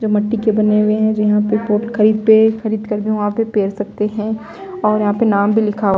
जो मिट्टी के बने हुए हैं जो यहाँ पे पोट खरीद पे खरीद कर भी वहाँ पे पेर सकते हैं और यहाँ पे नाम भी लिखा हुआ--